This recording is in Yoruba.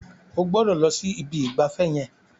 Ó gbọdọ̀ lọ si ibi ìgbafẹ́ yẹn.